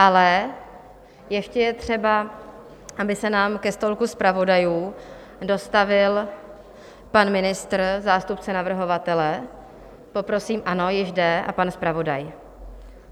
Ale ještě je třeba, aby se nám ke stolku zpravodajů dostavil pan ministr, zástupce navrhovatele, poprosím, ano, již jde, a pan zpravodaj.